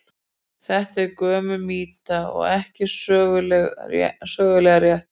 Þetta er gömul mýta og ekki sögulega rétt.